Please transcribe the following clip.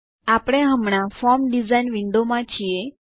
આપણે હમણાં form design window માં છીએ